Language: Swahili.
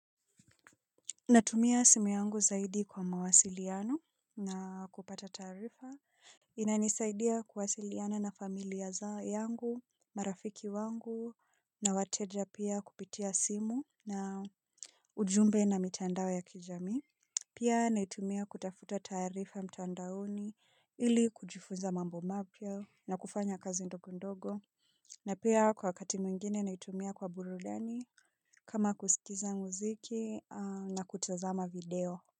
Natumia simu yangu zaidi kwa mawasiliano na kupata taarifa. Inanisaidia kuwasiliana na familia za yangu, marafiki wangu, na wateja pia kupitia simu na ujumbe na mitandao ya kijami. Pia naitumia kutafuta taarifa mtandaoni ili kujifunza mambo mapya na kufanya kazi ndogo ndogo. Na pia kwa wakati mwingine naitumia kwa burudani kama kusikiza muziki na kutazama video.